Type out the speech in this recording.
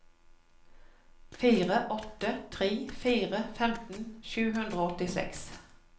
fire åtte tre fire femten sju hundre og åttiseks